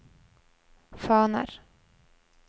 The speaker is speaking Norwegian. faner